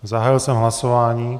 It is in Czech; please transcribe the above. Zahájil jsem hlasování.